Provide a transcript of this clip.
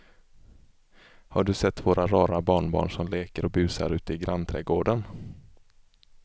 Har du sett våra rara barnbarn som leker och busar ute i grannträdgården!